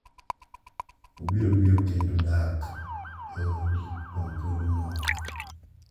Obiro biro kendo dak e odi kuom thuolo moro.